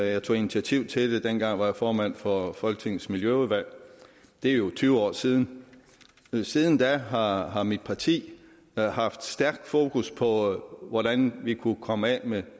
jeg tog initiativ til det dengang var jeg formand for folketingets miljøudvalg det er jo tyve år siden siden da har har mit parti haft stærkt fokus på hvordan vi kunne komme af med